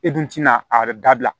E dun tina a dabila